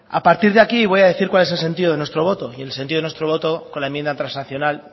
a partir de aquí voy a decir cuál es el sentido de nuestro voto y el sentido de nuestro voto con la enmienda transaccional